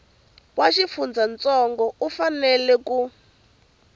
wa xifundzantsongo u fanela ku